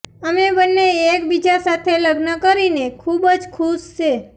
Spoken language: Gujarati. અમે બંને એક બીજા સાથે લગ્ન કરીને ખૂબ જ ખુશ છે